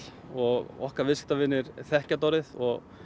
og okkar viðskiptavinir þekkja þetta orðið og